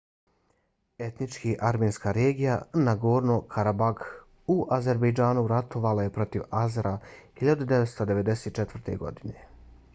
etnički armenska regija nagorno-karabakh u azerbejdžanu ratovala je protiv azera 1994. godine